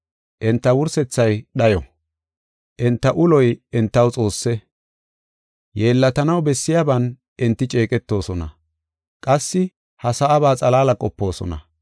Enta wursethay dhayo; enta uloy entaw xoosse. Yeellatanaw bessiyaban enti ceeqetoosona; qassi ha sa7aba xalaala qopoosona.